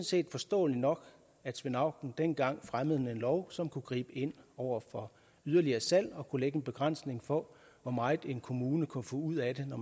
set forståeligt nok at svend auken dengang fremmede en lov som kunne gribe ind over for yderligere salg og kunne lægge en begrænsning på hvor meget en kommune kunne få ud af det når